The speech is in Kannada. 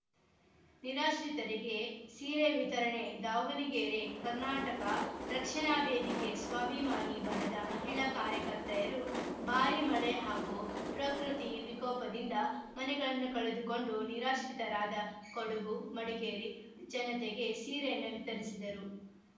ನಿರಾಶ್ರಿತರಿಗೆ ಸೀರೆ ವಿತರಣೆ ದಾವಣಗೆರೆ ಕರ್ನಾಟಕ ರಕ್ಷಣಾ ವೇದಿಕೆ ಸ್ವಾಬಿಮಾನಿ ಬಣದ ಮಹಿಳಾ ಕಾರ್ಯಕರ್ತೆಯರು ಭಾರಿ ಮಳೆ ಹಾಗೂ ಪ್ರಕ್ರತಿ ವಿಕೋಪದಿಂದ ಮನೆಗಳನ್ನು ಕಳೆದುಕೊಂಡು ನಿರಾಶ್ರಿತರಾದ ಕೊಡುಗು ಮಡಿಕೇರಿ ಜನತೆಗೆ ಸೀರೆಯನ್ನು ವಿತರಿಸಿದರು